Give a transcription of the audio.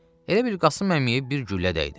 Elə bil Qasım əmiyə bir güllə dəydi.